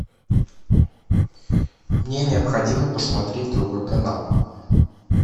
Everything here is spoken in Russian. мне необходимо посмотреть другой канал